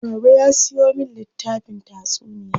Baba ya siyo min littafin tatsuniya.